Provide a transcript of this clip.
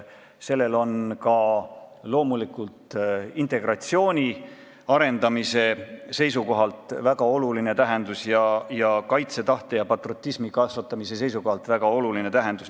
Sellel on ka integratsiooni arendamise ning kaitsetahte ja patriotismi kasvatamise seisukohalt väga oluline tähendus.